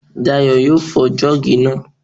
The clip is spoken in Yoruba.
Dayọ̀ yóò fọ́ jọ́ọ̀gì náà